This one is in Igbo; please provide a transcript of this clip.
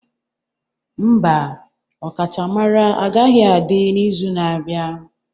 Mba, ọkachamara agaghị adị n'izu na-abịa.